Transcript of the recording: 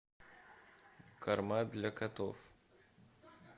корма для котов